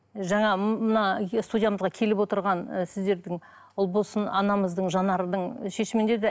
жаңа мына студиямызға келіп отырған і сіздердің ұлболсын анамыздың жанардың шешімінде де